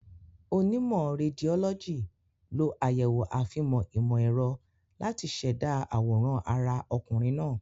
Onímọ̀ Rédiólọ́jì lo àyẹ̀wò àfihàn ìmọ̀ ẹ̀rọ láti ṣẹ̀dá àwòrán ara ọkùnrin náà.